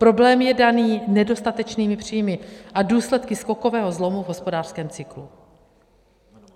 Problém je daný nedostatečnými příjmy a důsledky skokového zlomu v hospodářském cyklu.